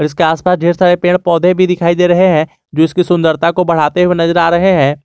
इसके आसपास ढेर सारे पेड़ पौधे भी दिखाई दे रहे हैं जो इसकी सुंदरता को बढ़ाते हुए नजर आ रहे हैं।